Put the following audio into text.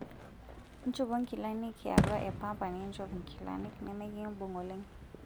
Nchopo nkilanik yaatua e pamba ninchop nkilanik nemikimbung' oleng'.